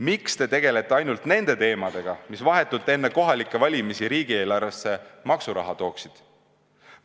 Miks te tegelete ainult nende teemadega, mis vahetult enne kohalikke valimisi riigieelarvesse maksuraha tooksid?